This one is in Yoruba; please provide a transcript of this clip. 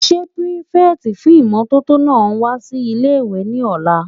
Ṣé pírífẹ̀tì fún ìmótótó náà wá sí ilé-ìwé ní ọ̀la?